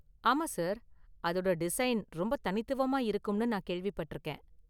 ஆமா சார், அதோட டிசைன் ரொம்ப தனித்துவமா இருக்கும்னு நான் கேள்விப்பட்டிருக்கேன்.